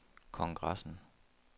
kongressen